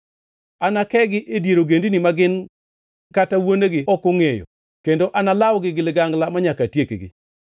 Anakegi e dier ogendini ma gin kata wuonegi ok ongʼeyo, kendo analawgi gi ligangla manyaka atiekgi.”